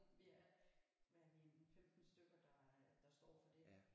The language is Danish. Vi er hvad er vi en 15 stykker der øh der står for det